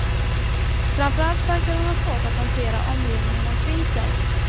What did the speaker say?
Framför allt verkade hon ha svårt att hantera omgivningen omkring sig.